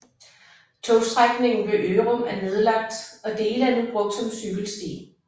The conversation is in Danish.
Togstrækningen ved Ørum er nedlagt og dele er nu brugt som cykelsti